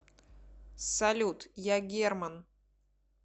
салют я герман